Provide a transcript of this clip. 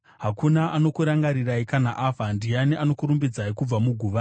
Hakuna anokurangarirai kana afa. Ndiani anokurumbidzai kubva muguva?